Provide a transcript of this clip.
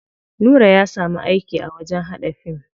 Nura ya samu aiki a wajen haɗa fim.